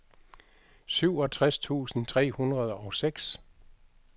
syvogtres tusind tre hundrede og seks